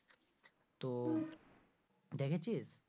তো দেখেছিস?